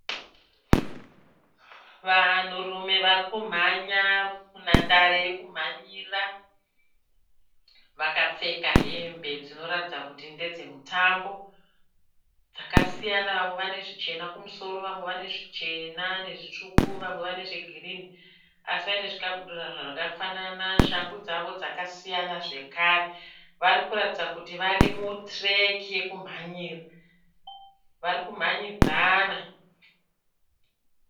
Vanhurume varikumhanya munhandare yekumhanyira vakapfeka hembe dzinoratidza kuti ndedze mutambo dzakasiyana vamwe vane zvichena kumusoro vamwe vane zvichena nezvitsvuku vamwe vane zvegirini asi vane zvikabudura zvakafanana shangu dzavo dzakasiyana zvakare varikuratidza kuti vari mutireki yekumhanyira varikumhanyidzana.